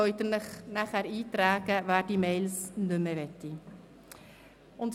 Wer diese E-Mails nicht mehr bekommen möchte, trage sich ein.